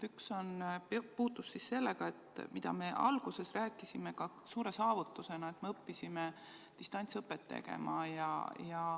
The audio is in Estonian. Üks puudutas seda, millest me alguses rääkisime kui suurest saavutusest, et me õppisime distantsõpet tegema.